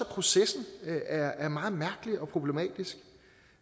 processen er meget mærkelig og problematisk